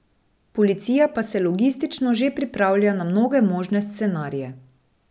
Policija pa se logistično že pripravlja na mnoge možne scenarije.